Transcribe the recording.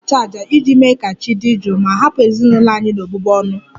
Anyị ga-achụ àjà iji mee ka chi dị jụụ ma hapụ ezinụlọ anyị n'ọbụbụ ọnụ